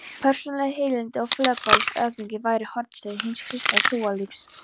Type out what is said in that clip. Persónuleg heilindi og fölskvalaus auðmýkt væru hornsteinar hins kristna trúarlífs.